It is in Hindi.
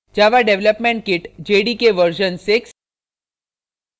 java development kit jdk version 6